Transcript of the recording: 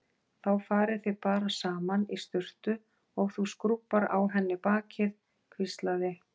Þá farið þið bara saman í sturtu og þú skrúbbar á henni bakið hvíslaði